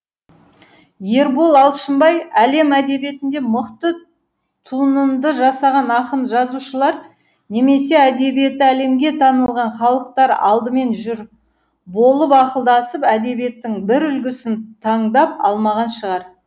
ербол алшынбаи әлем әдебиетінде мықты тунынды жасаған ақын жазушылар немесе әдебиеті әлемге танылған халықтар алдымен жұр болып ақылдасып әдебиеттің бір үлгісін таңдап алмаған шығар